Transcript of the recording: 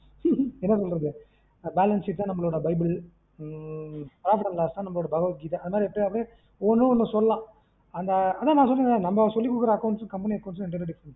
என்ன பண்றது balance sheet தான் நம்மலோட bible உம் profit and loss தான் நம்மலோட பகவத்கீதை அது மாரி extra வா ஒன்னொன்னு சொல்லலாம் அந்த ஆனா நா சொல்றம்ல நம்ம சொல்லி குடுக்குற accounts company account இரண்டுமே diffferent